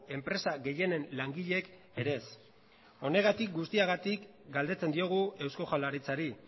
enpresa gehienen langileek ere ez honegatik guztiagatik galdetzen diogu eusko jaurlaritzari